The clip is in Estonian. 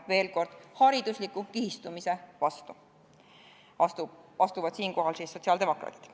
Veel kord, sotsiaaldemokraadid astuvad siinkohal haridusliku kihistumise vastu.